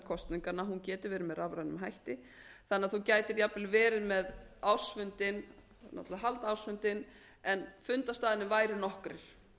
kosninganna að hún geti verið með rafrænum hætti þannig að þú gætir jafnvel verið með ársfundinn það á náttúrlega að halda ársfundinn en fundarstaðirnir væru nokkrir